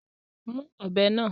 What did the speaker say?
Mú ọ̀bẹ náà!